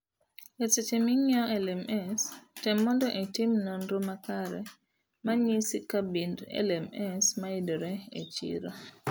Eseche ming'iewo LMS,tem mondo itim nonro makare manyisi kabind LMS mayudore e chiro.